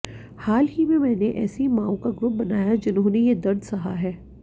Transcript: हाल ही में मैंने ऐसी मांओं का ग्रुप बनाया जिन्होंने ये दर्द सहा है